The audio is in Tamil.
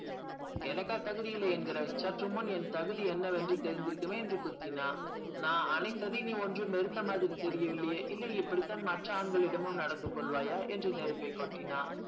எனக்கா தகுதி இல்லை என்கிறாய் சற்று முன் என் தகுதி என்னவென்று தெரிஞ்சுருக்குமே என்று குத்தினா நான் அனைத்தையும் நீ ஒன்றும் நிறுத்த மாதிரி தெரியவில்லை இல்லை இப்படித்தான் மற்ற ஆண்களிடமும் நடந்து கொள்வாயா என்று நெருப்பை கொட்டினான்.